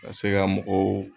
Ka se ga mɔgɔw